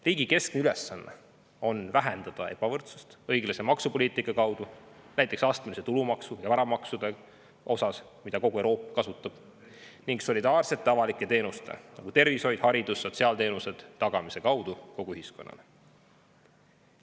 Riigi keskne ülesanne on vähendada ebavõrdsust õiglase maksupoliitika kaudu, näiteks astmelise tulumaksu ja varamaksud, nagu kogu Euroopa teeb, ning solidaarsete avalike teenuste, näiteks tervishoiu, hariduse ja sotsiaalteenuste tagamise kaudu kogu ühiskonnale.